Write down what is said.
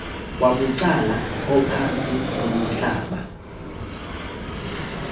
wabucala ophantsi komhlaba